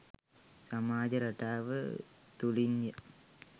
සමාජ රටාව තුළින්ය.